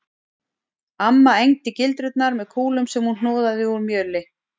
Amma egndi gildrurnar með kúlum sem hún hnoðaði úr mjöli